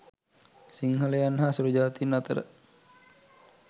සිංහලයන් හා සුලූ ජාතීන් අතර